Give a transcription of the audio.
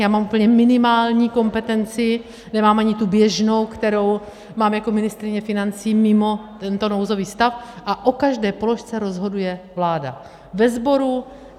já mám úplně minimální kompetenci, nemám ani tu běžnou, kterou mám jako ministryně financí mimo tento nouzový stav, a o každé položce rozhoduje vláda ve sboru.